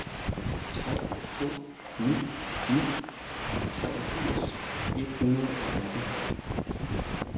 tre to ni ni treogfirs et hundrede og atten